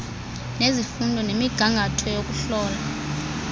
zesifundo nemigangatho yokuhlola